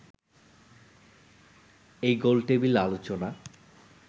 এই গোলটেবিল আলোচনা